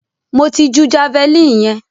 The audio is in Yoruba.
Mo ti ju javeline yẹn.